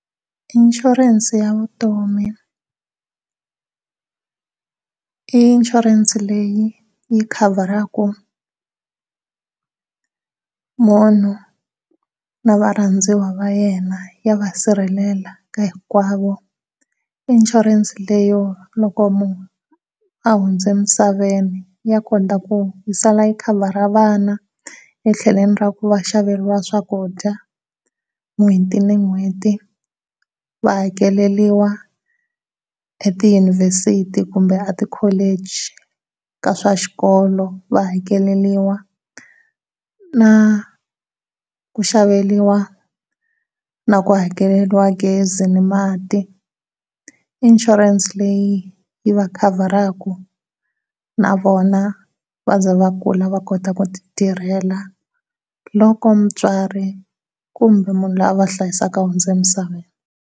Inshurense ya vutomi i inshurense leyi yi khavharaka munhu na varhandziwa va yena ya va sirhelela hinkwavo i inshurense leyo loko munhu a hundze emisaveni ya kona yi sala yi khavhara vana ra ku va xaveiwa swakudya n'hweti ni n'hweti va hakeleriwa etiyunivhesiti kumbe etikholichi eka swa xikolo va hakeleriwa na ku xaveriwa na ku hakeleriwa gezi ni mati, insurance leyi yi va khavharaka na vona wva ze va kula va kota ku ti tirhela loko mutswari kumbe munhu la va hlayisaka a hundze emisaveni.